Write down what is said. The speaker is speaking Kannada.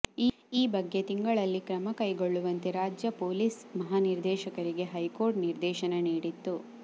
ಈ ಬಗ್ಗೆ ತಿಂಗಳಲ್ಲಿ ಕ್ರಮ ಕೈಗೊಳ್ಳುವಂತೆ ರಾಜ್ಯ ಪೊಲೀಸ್ ಮಹಾನಿರ್ದೇಶಕರಿಗೆ ಹೈಕೋರ್ಟ್ ನಿರ್ದೇಶನ ನೀಡಿತ್ತು